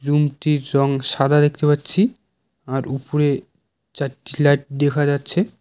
Room -টির রঙ সাদা দেখতে পাচ্ছি আর উপরে চারটি লাইট দেখা যাচ্ছে।